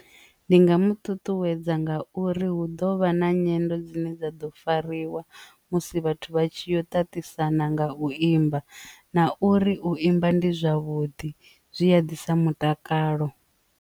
Ndi nga mu ṱuṱuwedza nga uri hu ḓo vha na nyendo dzine dza ḓo fariwa musi vhathu vha tshi yo tatisana nga u imba na uri u imba ndi zwavhuḓi zwi a ḓisa mutakalo.